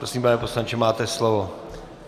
Prosím, pane poslanče, máte slovo.